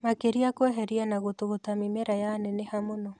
Makeria kũheria na gũtũgũta mĩmera yaneneha mũno